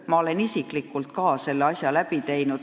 Ma olen isiklikult ka selle läbi teinud.